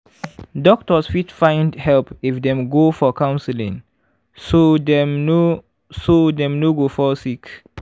doctors fit find help if dem go for counseling so dem no so dem no go fall sick.